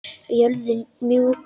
Jörðin mjúk.